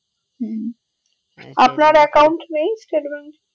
হম আপনার account নেই state bank এ